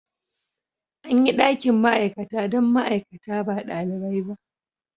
An yi dakin ma'aikata don ma'aikata ba ɗalibai ba.